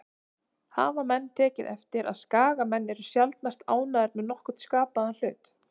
Hafa menn tekið eftir að Skagamenn eru sjaldnast ánægðir með nokkurn skapaðan hlut?